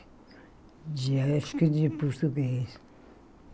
De acho que de português.